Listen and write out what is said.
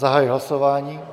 Zahajuji hlasování.